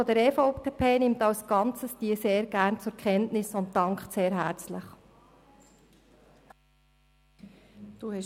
Die Fraktion der EVP nimmt diese als Ganzes sehr gerne zur Kenntnis und dankt herzlich dafür.